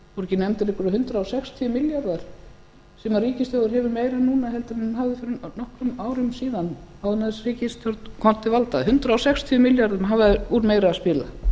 ekki nefndir einhverjir hundrað sextíu milljarðar sem ríkissjóður hefur meira núna heldur en hann hafði fyrir nokkrum árum síðan áður en þessi ríkisstjórn komst til valda hundrað sextíu milljörðum hafa þeir úr meira að spila